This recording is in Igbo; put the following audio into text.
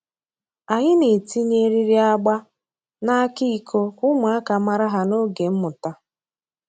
Anyị na-etinye eriri agba n’aka iko ka ụmụaka mara ha n’oge mmụta.